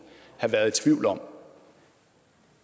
have været i tvivl om